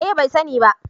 Eh bai sani ba